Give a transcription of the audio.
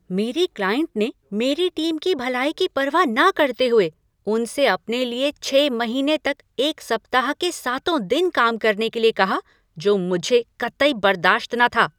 मेरी क्लाइंट ने मेरी टीम की भलाई की परवाह न करते हुए उनसे अपने लिए छः महीने तक सप्ताह के सातों दिन काम करने के लिए कहा जो मुझे कतई बरदाश्त न था।